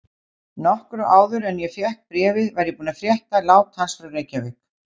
Nokkru áður en ég fékk bréfið var ég búinn að frétta lát hans frá Reykjavík.